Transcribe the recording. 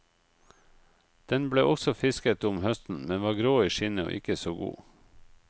Den ble også fisket om høsten, men var grå i skinnet og ikke så god.